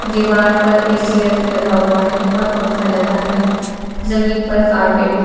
दीवार पर ए_सी लगा हुआ है और पंखा लगा है जमीन पर कारपेट भी--